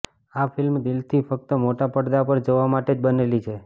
આ ફિલ્મ દિલથી ફક્ત મોટા પડદા પર જોવા માટે જ બનેલી છે